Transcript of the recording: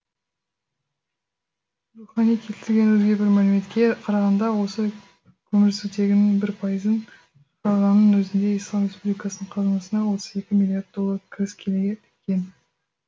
рухани келтірген өзге бір мәліметке қарағанда осы көмірсутегінің бір пайызын шығарғанның өзінде ислам республикасының қазынасына отыз екі миллиард доллар кіріс келеді екен